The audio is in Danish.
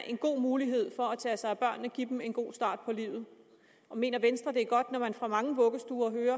en god mulighed for at tage sig af børnene og give dem en god start på livet og mener venstre at det er godt når man fra mange vuggestuer hører